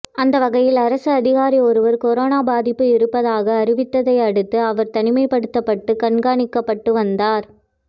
அந்த வகையில் அரசு அதிகாரி ஒருவர் கொரோனா பாதிப்பு இருப்பதாக அறிவித்ததை அடுத்து அவர் தனிமைப்படுத்தப்பட்டு கண்காணிக்கப்பட்டு வந்தார்